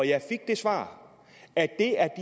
jeg fik det svar at det er